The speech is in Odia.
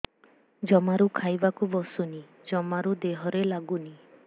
ଜମାରୁ ଖାଇବାକୁ ବସୁନି ଜମାରୁ ଦେହରେ ଲାଗୁନି